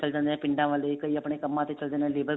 ਚਲ ਜਾਂਦੇ ਆ ਪਿੰਡਾਂ ਵਾਲੇ ਕਈ ਆਪਣੇ ਕੰਮਾ ਤੇ ਚਲੇ ਜਾਂਦੇ ਨੇ labour